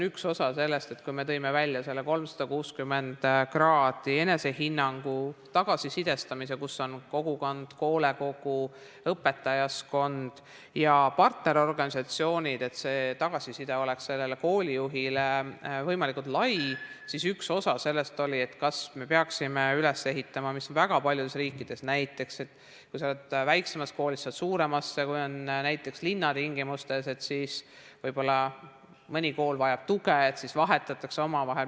Kui me tõime välja selle nn 360° enesehinnangu ja tagasisidestamise, kus osalevad kogukond, hoolekogu, õpetajaskond ja partnerorganisatsioonid, et tagasiside koolijuhile oleks võimalikult lai, siis üks osa sellest oli, kas me peaksime üles ehitama, mis on väga paljudes riikides: kui sa oled väiksemas koolis, siis sa lähed suuremasse, või kui näiteks linnatingimustes võib-olla mõni kool vajab tuge, siis vahetatakse omavahel.